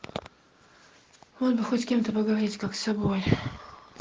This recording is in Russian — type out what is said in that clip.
вот бы хоть с кем-то поговорить как с собой